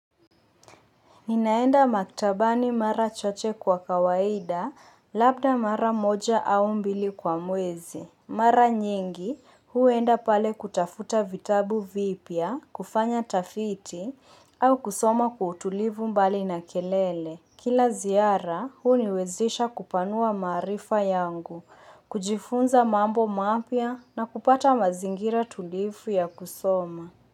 Ninaenda maktabani mara chache kwa kawaida, labda mara moja au mbili kwa mwezi. Mara nyingi, huenda pale kutafuta vitabu vipya, kufanya tafiti, au kusoma kwa utulivu mbali na kelele. Kila ziara, huniwezisha kupanua maarifa yangu, kujifunza mambo mapya na kupata mazingira tulivu ya kusoma.